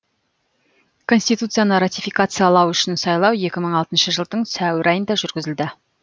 конституцияны ратификациялау үшін сайлау екі мың алтыншы жылдың сәуір айында жүргізілді